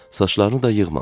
Saçlarını da yığmamışdı.